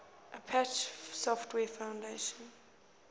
apache software foundation